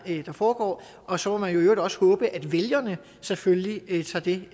det er der foregår og så må man i øvrigt også håbe at vælgerne selvfølgelig tager det